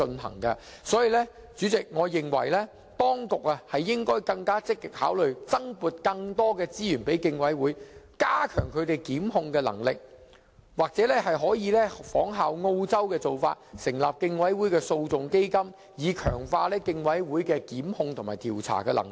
所以，代理主席，我認為當局應積極考慮增撥資源予競委會，加強他們的檢控能力，或可仿效澳洲的做法，成立競委會訴訟基金，以強化競委會檢控及調查的能力。